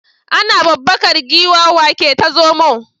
Ana babbakar giwa wa ke ta zomo?